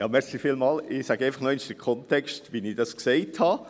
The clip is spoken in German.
Ja, ich sage einfach nochmals den Kontext, wie ich es gesagt habe.